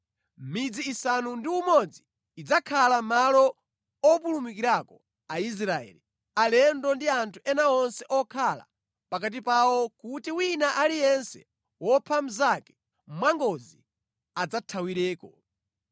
Midzi isanu ndi umodzi idzakhala malo opulumukirako Aisraeli, alendo ndi anthu ena onse okhala pakati pawo kuti wina aliyense wopha mnzake mwangozi adzathawireko.